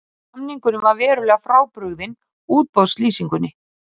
Samningurinn var verulega frábrugðinn útboðslýsingunni